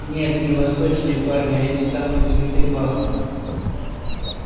нет не восточные парни а эти самые цветы пахнут